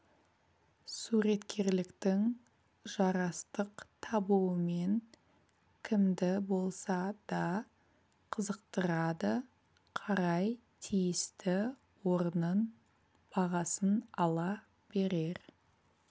суреткерліктің жарастық табуымен кімді болса да қызықтырады қарай тиісті орнын бағасын ала берер